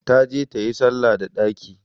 Ta je tayi salla da ɗaki!